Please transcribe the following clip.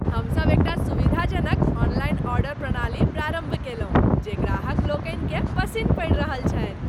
हमसभ एकटा सुविधाजनक ऑनलाइन ऑर्डर प्रणाली प्रारम्भ कयलहुँ जे ग्राहक लोकनि केँ पसिन्न पड़ि रहल छन्हि ।